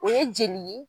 O ye jeli ye